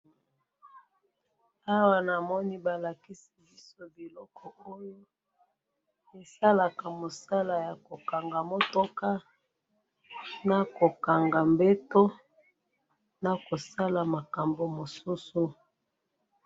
Na moni balakisi awa biloko ya menuiserie,